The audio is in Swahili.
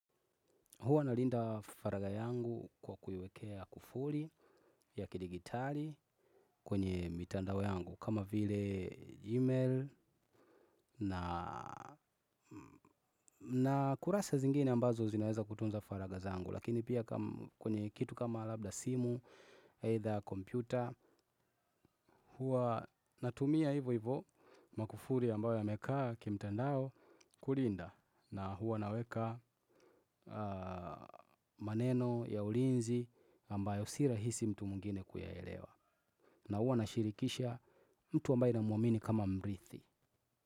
Huwa nalinda faraga yangu kwa kuiwekea kufuli ya kidigitali kwenye mitandao yangu. Kama vile gmail na kurasa zingine ambazo zinaweza kutunza faraga zangu. Lakini pia kwenye kitu kama labda simu, either computer. Huwa natumia hivo hivo makufuli ambayo yamekaa kimtandao kulinda. Na huwa naweka maneno ya ulinzi ambayo si rahisi mtu mwingine kuyaelewa. Na huwa nashirikisha mtu ambaye namuamini kama mrithi.